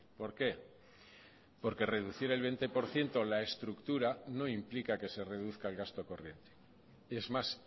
por qué porque reducir el veinte por ciento la estructura no implica que se reduzca el gasto corriente es más